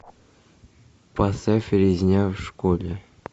поставь резня в школе